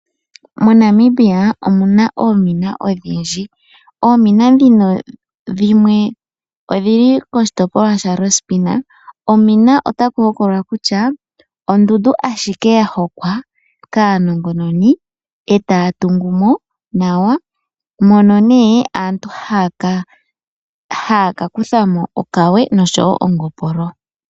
Monamibia omuna oomina odhindji. Oomina ndhino dhimwe odhili koshitopolwa sha lange . Omina otaku hokololwa kutya ondundu ashike ya hokwa kaanongononi etaya tungumo nawa mono nee aantu haya kakuthamo okawe noshowo ongopolo.